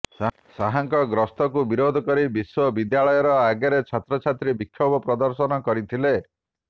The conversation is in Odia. ଶାହଙ୍କ ଗସ୍ତକୁ ବିରୋଧ କରି ବିଶ୍ୱବିଦ୍ୟାଳୟ ଆଗରେ ଛାତ୍ରଛାତ୍ରୀ ବିକ୍ଷୋଭ ପ୍ରଦର୍ଶନ କରିଥିଲେ